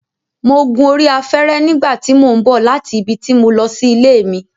Mo gun orí afẹ́rẹ́ nígbà tí mò ń bọ̀ láti ibi tí mo lọ sí ilé mi